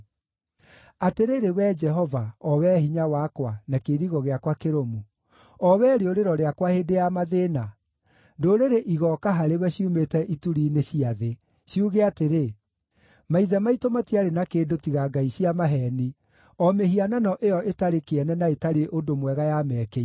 Atĩrĩrĩ Wee Jehova, o wee hinya wakwa, na kĩirigo gĩakwa kĩrũmu, o wee rĩũrĩro rĩakwa hĩndĩ ya mathĩĩna, ndũrĩrĩ igooka harĩwe ciumĩte ituri-inĩ cia thĩ, ciuge atĩrĩ, “Maithe maitũ matiarĩ na kĩndũ tiga ngai cia maheeni, o mĩhianano ĩyo ĩtarĩ kĩene na ĩtarĩ ũndũ mwega yamekĩire.